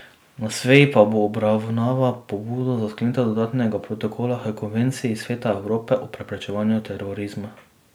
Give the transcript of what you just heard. Na seji pa bo obravnaval pobudo za sklenitev dodatnega protokola h Konvenciji Sveta Evrope o preprečevanju terorizma.